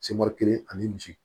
Sebɛrɛ kelen ani misi